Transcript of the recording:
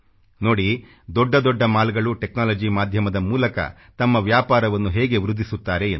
ನೋಡಿ ದೊಡ್ಡ ದೊಡ್ಡ ಮಾಲ್ಗಳು ಟೆಕ್ನಾಲಜಿ ಮಾಧ್ಯಮದ ಮೂಲಕ ತಮ್ಮ ವ್ಯಾಪಾರವನ್ನು ಹೇಗೆ ವೃದ್ಧಿಸುತ್ತಾರೆ ಎಂದು